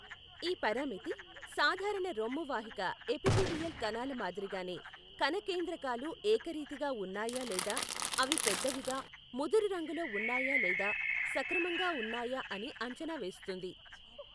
ఈ పరామితి, సాధారణ రొమ్ము వాహిక ఎపిథీలియల్ కణాల మాదిరిగానే కణ కేంద్రకాలు ఏకరీతిగా ఉన్నాయా లేదా అవి పెద్దవిగా, ముదురు రంగులో ఉన్నాయా లేదా సక్రమంగా ఉన్నాయా అని అంచనా వేస్తుంది.